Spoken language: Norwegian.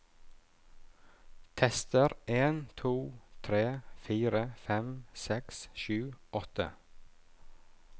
Tester en to tre fire fem seks sju åtte